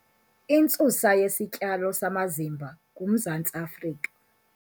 Intsusa yesityalo samazimba nguMzantsi Afrika.